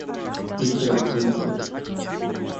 питер динклэйдж